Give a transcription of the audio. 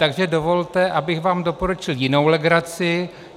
Takže dovolte, abych vám doporučil jinou legraci.